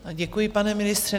Děkuji, pane ministře.